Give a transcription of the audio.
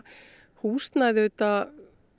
húsnæði auðvitað